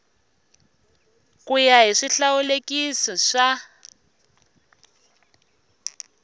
ku ya hi swihlawulekisi swa